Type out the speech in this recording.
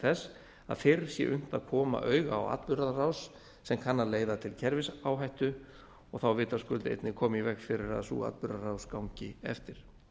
þess að fyrr sé unnt að koma auga á atburðarás sem kann að leiða til kerfisáhættu og þá vitaskuld einnig koma í veg fyrir að sú atburðarás gangi eftir